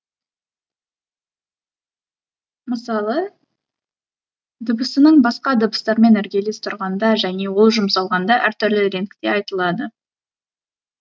мысалы дыбысының басқа дыбыстармен іргелес тұрғанда және ол жұмсалғанда әртүрлі реңкте айтылады